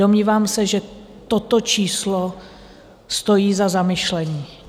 Domnívám se, že toto číslo stojí za zamyšlení.